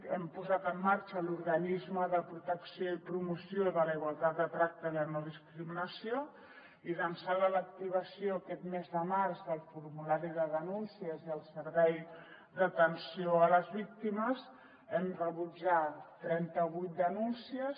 hem posat en marxa l’organisme de protecció i promoció de la igualtat de tracte i la no discriminació i d’ençà de l’activació aquest mes de març del formulari de denúncies i el servei d’atenció a les víctimes hem rebut ja trenta vuit denúncies